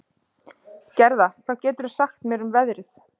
Gerða, hvað geturðu sagt mér um veðrið?